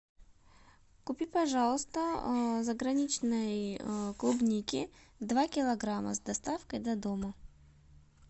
купи пожалуйста заграничной клубники два килограмма с доставкой до дома